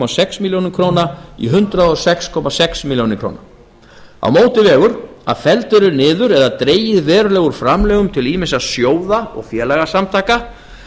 sex milljónir króna í hundrað og sex komma sex milljónir króna á móti vegur að felld eru niður eða dregið verulega úr framlögum til ýmissa sjóða og félagasamtaka